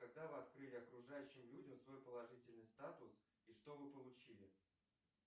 когда вы открыли окружающим людям свой положительный статус и что вы получили